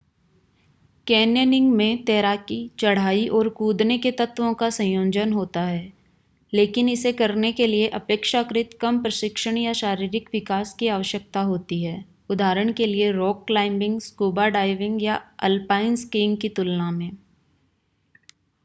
Canyoning में तैराकी चढ़ाई और कूदने के तत्वों का संयोजन होता है - लेकिन इसे करने के लिए अपेक्षाकृत कम प्रशिक्षण या शारीरिक विकास की आवश्यकता होती है उदाहरण के लिए रॉक क्लाइम्बिंग स्कूबा डाइविंग या अल्पाइन स्कीइंग की तुलना में।